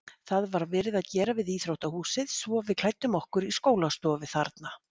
Það var verið að gera við íþróttahúsið svo við klæddum okkur í skólastofu þarna.